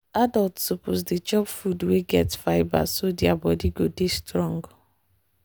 adults suppose dey chop food wey get fibre so their body go dey strong.